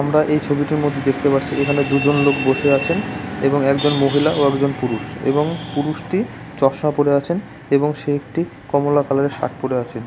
আমরা এই ছবিটার মধ্যে দেখতে পারছি এখানে দুজন লোক বসে আছেন এবং একজন মহিলা ও একজন পুরুষ এবং পুরুষটি চশমা পড়ে আছেন এবং সে একটি কমলা কালার -এর শার্ট পড়ে আছে ।